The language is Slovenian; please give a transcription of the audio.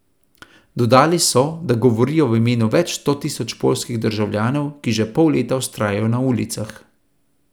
Dodali so, da govorijo v imenu več sto tisoč poljskih državljanov, ki že pol leta vztrajajo na ulicah.